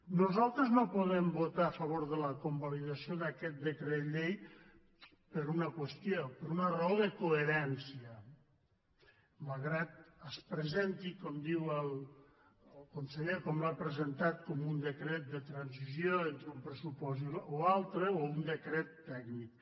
nosaltres no podem votar a favor de la convalidació d’aquest decret llei per una qüestió per una raó de co·herència malgrat que es presenti com diu el conseller com l’ha presentat com un decret de transició entre un pressupost o altre o un decret tècnic